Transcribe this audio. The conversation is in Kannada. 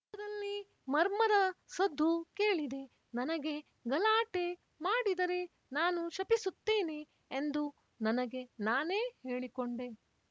ದೂರದಲ್ಲಿ ಮರ್ಮರ ಸದ್ದು ಕೇಳಿದೆ ನನಗೆ ಗಲಾಟೆ ಮಾಡಿದರೆ ನಾನು ಶಪಿಸುತ್ತೇನೆ ಎಂದು ನನಗೆ ನಾನೇ ಹೇಳಿಕೊಂಡೆ